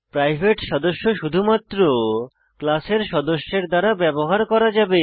private সদস্য শুধুমাত্র ক্লাসের সদস্যের দ্বারা ব্যবহার করা যাবে